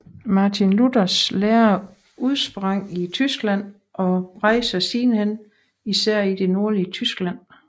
Martin Luthers lære udsprang i Tyskland og bredte sig sidenhen især i det nordlige Tyskland